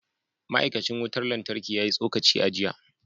Ma’aikacin wutar lantarki ya yi tsokaci a jiya